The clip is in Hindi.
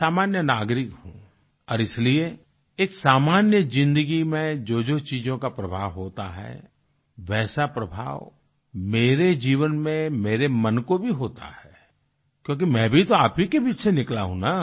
एक सामान्य नागरिक हूँ और इसलिए एक सामान्य जिंदगी में जोजो चीज़ों का प्रभाव होता है वैसा प्रभाव मेरे जीवन में मेरे मन को भी होता है क्योंकि मैं भी तो आप ही के बीच निकला हूँ ना